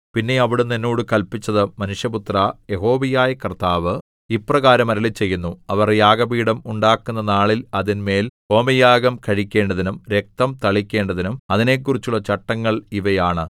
പിന്നെ അവിടുന്ന് എന്നോട് കല്പിച്ചത് മനുഷ്യപുത്രാ യഹോവയായ കർത്താവ് ഇപ്രകാരം അരുളിച്ചെയ്യുന്നു അവർ യാഗപീഠം ഉണ്ടാക്കുന്ന നാളിൽ അതിന്മേൽ ഹോമയാഗം കഴിക്കേണ്ടതിനും രക്തം തളിക്കേണ്ടതിനും അതിനെക്കുറിച്ചുള്ള ചട്ടങ്ങൾ ഇവയാണ്